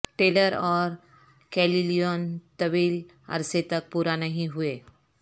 tailor اور کیلیون طویل عرصہ تک پورا نہیں ہوئے